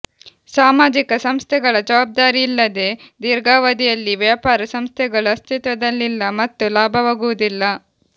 ಸಾಮಾಜಿಕ ಸಂಸ್ಥೆಗಳ ಜವಾಬ್ದಾರಿಯಿಲ್ಲದೆ ದೀರ್ಘಾವಧಿಯಲ್ಲಿ ವ್ಯಾಪಾರ ಸಂಸ್ಥೆಗಳು ಅಸ್ತಿತ್ವದಲ್ಲಿಲ್ಲ ಮತ್ತು ಲಾಭವಾಗುವುದಿಲ್ಲ